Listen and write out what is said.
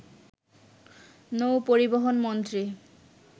নৌ পরিবহন মন্ত্রী